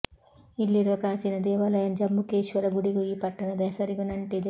ಇಲ್ಲಿರುವ ಪ್ರಾಚೀನ ದೇವಾಲಯ ಜಂಬುಕೇಶ್ವರ ಗುಡಿಗೂ ಈ ಪಟ್ಟಣದ ಹೆಸರಿಗೂ ನಂಟಿದೆ